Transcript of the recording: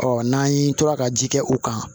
Ɔ n'an tora ka ji kɛ u kan